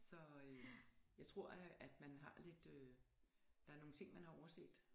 Så øh jeg tror at at man har lidt øh der er nogle ting man har overset